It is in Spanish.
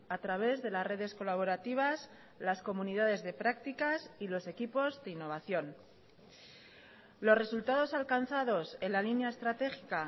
a través de las redes colaborativas las comunidades de prácticas y los equipos de innovación los resultados alcanzados en la línea estratégica